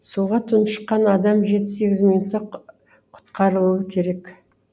суға тұншыққан адам жеті сегіз минутта құтқарылуы керек